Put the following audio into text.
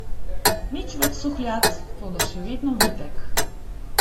Nič več suhljat, toda še vedno vitek.